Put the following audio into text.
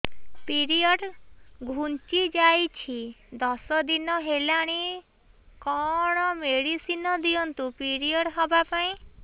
period ଘୁଞ୍ଚି ଯାଇଛି ଦଶ ଦିନ ହେଲାଣି କଅଣ ମେଡିସିନ ଦିଅନ୍ତୁ ପିରିଅଡ଼ ହଵା ପାଈଁ